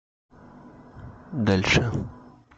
дальше